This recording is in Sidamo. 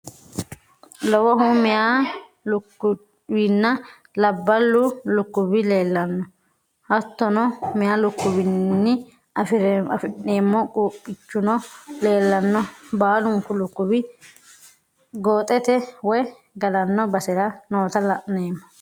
Lowohu meya lukkuwinna labballu lukkuwi leellanno hattono meya lukkuwiwiinni afi'nemmo quuphiichuno leellanno baalunku lukkuwi gooxete woy galanno basera noota laoommo